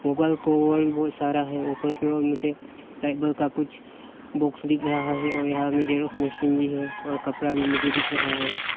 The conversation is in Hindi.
ऊपर को बहुत सारा है ऊपर की ओर मुझे लाइट बल्ब का कुछ बॉक्स दिख रहा है और यहां में जेरॉक्स मशीन भी है और कपड़ा भी मुझे दिख था है।